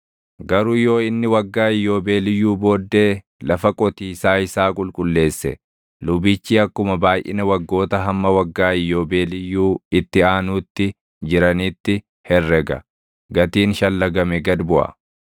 Garuu yoo inni waggaa Iyyoobeeliyyuu booddee lafa qotiisaa isaa qulqulleesse lubichi akkuma baayʼina waggoota hamma waggaa Iyyoobeeliyyuu itti aanuutti jiraniitti herrega; gatiin shallagame gad buʼa.